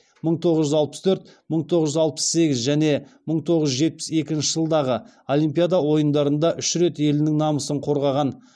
мың тоғыз жүз алпыс төрт мың тоғыз жүз алпыс сегіз және мың тоғыз жүз жетпіс екінші жылдардағы олимпиада ойындарында үш рет елінің намысын қорғаған